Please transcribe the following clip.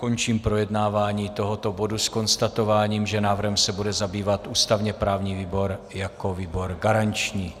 Končím projednávání tohoto bodu s konstatováním, že návrhem se bude zabývat ústavně-právní výbor jako výbor garanční.